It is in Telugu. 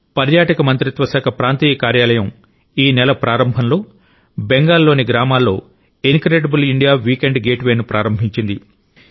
పర్యాటక మంత్రిత్వ శాఖ ప్రాంతీయ కార్యాలయం ఈ నెల ప్రారంభంలో బెంగాల్ లోని గ్రామాల్లో incredible India weekend gateway ను ప్రారంభించింది